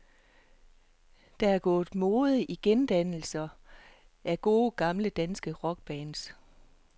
Der er gået mode i gendannelser af gode, gamle, danske rockbands.